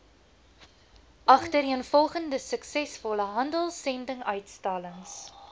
agtereenvolgende suksesvolle handelsendinguitstallings